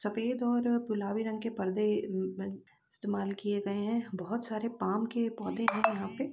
सफेद और गुलाबी रंग के पर्दे अम्म अ इस्तेमाल किए गए हैं | बहोत सारे पाम के पौधे हैं यहाँ पे ।